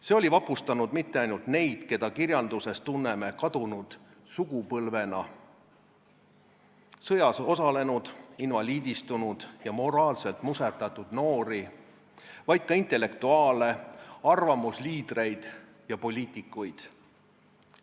See oli vapustanud mitte ainult neid, keda kirjandusest tunneme kadunud sugupõlvena – sõjas osalenud, invaliidistunud ja moraalselt muserdatud noori –, vaid ka intellektuaale, arvamusliidreid ja poliitikuid.